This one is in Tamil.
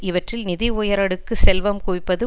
இவற்றில் நிதி உயரடுக்கு செல்வம் குவிப்பது